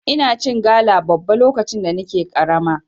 Ina cin gala babba lokacin da nake karama.